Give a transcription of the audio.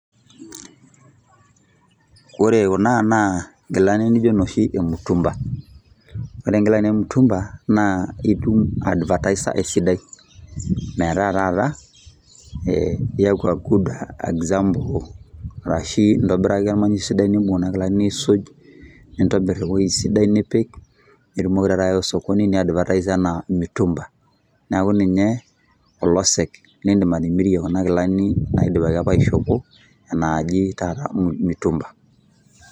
Ore kuna naa nkilani nijo noshi emutumba. Ore nkilani emutumba, naa itum advataisa esidai. Metaa taata, iyaku a good example, arashi intobiraki ormanyi sidai nibung kuna kilani aisuj, nintobir ewoi sidai nipik, nitumoki taata ayawa osokoni ni advertise enaa mitumba. Neeku ninye olosek lidim atimirie kuna kilani naidipaki apa aishopo, naaji taata mitumba.